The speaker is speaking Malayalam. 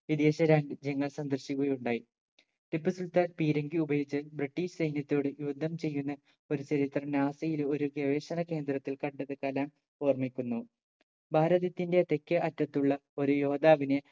വിദേശ രാജ്യങ്ങൾ സന്ദർശിക്കുകയുണ്ടായി ടിപ്പുസുൽത്താൻ പീരങ്കി ഉപയോഗിച്ച് british സൈന്യത്തോട് യുദ്ധം ചെയ്യുന്ന ഒരു ചരിത്രം NASA യിൽ ഒരു ഗവേഷണ കേന്ദ്രത്തിൽ കണ്ടത് കലാം ഓർമിക്കുന്നു ഭാരതത്തിന്റെ തെക്കേ അറ്റത്തുള്ള ഒരു യോദ്ധാവിനെ